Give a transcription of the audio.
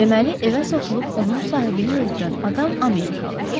Deməli, evə soxulub onun sahibini öldürən adam Amerikalıdır.